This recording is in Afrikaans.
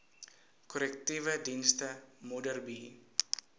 korrektiewe sentrum modderbee